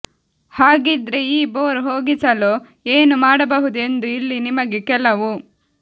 ಹಾಗಿದ್ರೆ ಈ ಬೋರ್ ಹೋಗಿಸಲು ಏನು ಮಾಡಬಹುದು ಎಂದು ಇಲ್ಲಿ ನಿಮಗೆ ಕೆಲವು